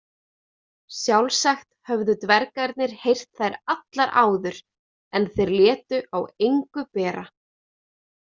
Sjálfsagt höfðu dvergarnir heyrt þær allar áður en þeir létu á engu bera.